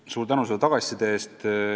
Suur tänu selle tagasiside eest!